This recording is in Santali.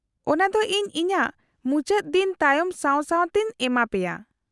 -ᱚᱱᱟᱫᱚ ᱤᱧ ᱤᱧᱟᱹᱜ ᱠᱟᱹᱢᱤ ᱢᱩᱪᱟᱹᱫ ᱫᱤᱱ ᱛᱟᱭᱚᱢ ᱥᱟᱶ ᱥᱟᱶ ᱛᱮᱧ ᱮᱢᱟ ᱯᱮᱭᱟ ᱾